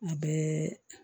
U bɛɛ